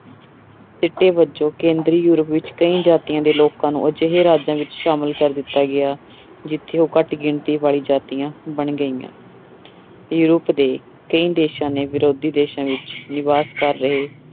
ਸਿੱਟੇ ਵਜੋਂ ਕੇਂਦਰੀ ਯੂਰਪ ਵਿੱਚ ਕਈ ਜਾਤੀਆਂ ਦੇ ਲੋਕਾਂ ਨੂੰ ਅਜਿਹੇ ਰਾਜਾਂ ਵਿੱਚ ਸ਼ਾਮਿਲ ਕਰ ਦਿੱਤਾ ਗਿਆ ਜਿੱਥੇ ਉਹ ਘੱਟ ਗਿਣਤੀ ਵਾਲੀ ਜਾਤੀਆਂ ਬਣ ਗਈਆਂ ਯੂਰਪ ਦੇ ਕਈ ਦੇਸਾਂ ਨੇ ਵਿਰੋਧੀ ਦੇਸਾਂ ਵਿੱਚ ਨਿਵਾਸ ਕਰ ਰਹੇ